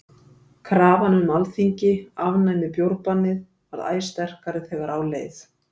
Krafan um að Alþingi afnæmi bjórbannið varð æ sterkari þegar á leið.